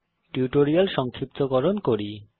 tutorial সংক্ষিপ্তকরণ করি